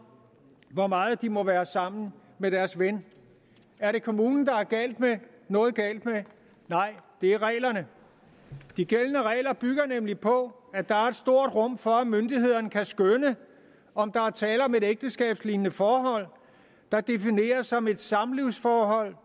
hvor meget de må være sammen med deres ven er det kommunen der er noget galt med nej det er reglerne de gældende regler bygger nemlig på at der er et stort rum for at myndighederne kan skønne om der er tale om et ægteskabslignende forhold der defineres som et samlivsforhold